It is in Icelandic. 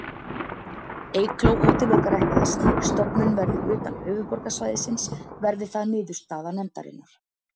Eygló útilokar ekki að slík stofnun verði utan höfuðborgarsvæðisins, verði það niðurstaða nefndarinnar.